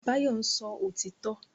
Báyọ̀ ń sọ òtítọ́